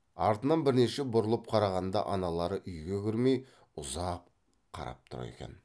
артынан бірнеше бұрылып қарағанда аналары үйге кірмей ұзақ қарап тұр екен